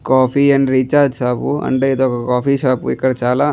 coffee and recharge shop అంటే ఇదొక coffee shop ఇక్కడ చాలా --